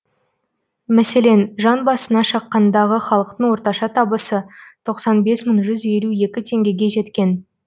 мәселен жан басына шаққандағы халықтың орташа табысы тоқсан бес мың жүз елу екі теңгеге жеткен